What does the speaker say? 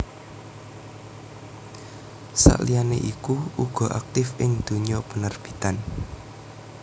Sakliyane iku uga aktif ing dunya penerbitan